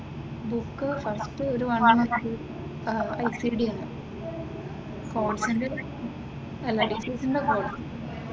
book first ഒരു one month call സെന്ററിന്റെ